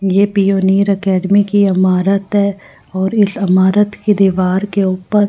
ये pioneer academy की इमारत है और इस इमारत की दीवार के ऊपर--